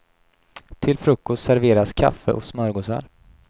Till frukost serveras kaffe och smörgåsar.